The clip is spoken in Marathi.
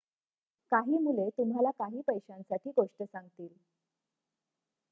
काही मुले तुम्हाला काही पैशांसाठी गोष्ट सांगतील